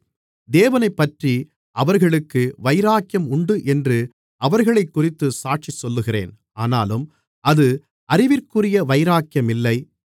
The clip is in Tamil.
தேவனைப்பற்றி அவர்களுக்கு வைராக்கியம் உண்டு என்று அவர்களைக்குறித்துச் சாட்சி சொல்லுகிறேன் ஆனாலும் அது அறிவிற்குரிய வைராக்கியம் இல்லை